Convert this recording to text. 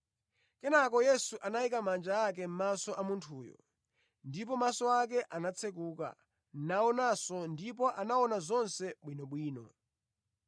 Kenakanso Yesu anayika manja ake mʼmaso a munthuyo. Ndipo maso ake anatsekuka, naonanso, ndipo anaona zonse bwinobwino.